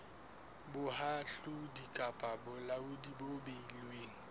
bohahlaudi kapa bolaodi bo beilweng